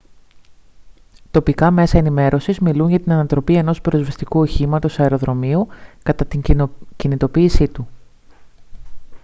τοπικά μέσα ενημέρωσης μιλούν για την ανατροπή ενός πυροσβεστικού οχήματος αεροδρομίου κατά την κινητοποίησή του